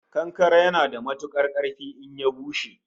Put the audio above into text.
Kankare yana da matukar karfi in ya bushe